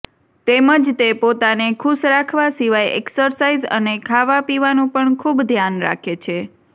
તેમજ તે પોતાને ખુશ રાખવા સિવાય એક્સરસાઇઝ અને ખાવા પીવાનું પણ ખુબ ધ્યાન રાખે છે